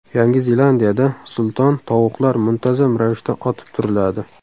Yangi Zelandiyada sulton tovuqlar muntazam ravishda otib turiladi.